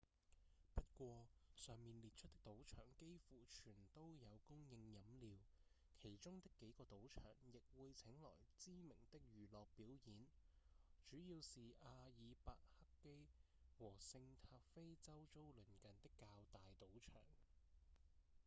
不過上面列出的賭場幾乎全都有供應飲料其中的幾個賭場亦會請來知名的娛樂表演主要是阿爾伯克基和聖塔菲周遭鄰近的較大賭場